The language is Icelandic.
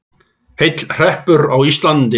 Heill hreppur á Íslandi.